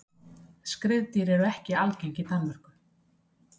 Skriðdýr eru ekki algeng í Danmörku.